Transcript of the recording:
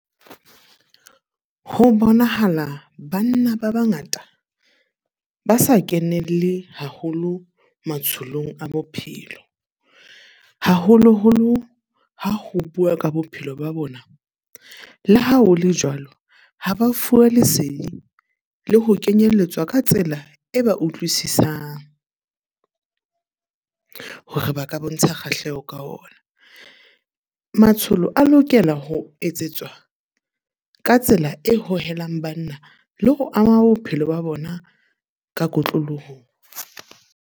Ho bonahala banna ba bangata ba sa kenelle haholo matsholong a bophelo. Haholoholo ha ho bua ka bophelo ba bona. Le ha ho le jwalo, ha ba fuwa lesedi le ho kenyelletswa ka tsela e ba utlwisisang, hore ba ka bontsha kgahleho ka ona. Matsholo a lokela ho etsetswa ka tsela e hohelang banna le ho ama bophelo ba bona ka kotloloho.